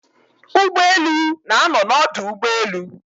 Ugboelu na-ano n'odu ugboelu